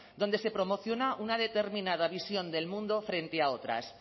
donde se promociona una determinada visión del mundo frente a otras